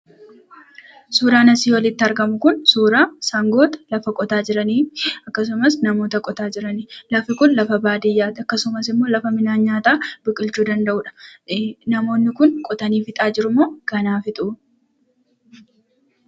Suuraan asii olitti argamu kun, suuraa sangoota lafa qotaa jiranii fi akkasumas, namoota lafa qotaa jirani. Lafti kun lafa baadiyyaa ti. Akkasumas immoo, lafa midhaan nyaataa biqilchuu danda'uu dha. Namoonni kun qotanii fixaa jirumoo ganaa fixu?